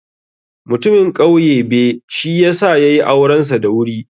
Mutamin ƙauye be, shi ya sa ya yi aurensa da wuri.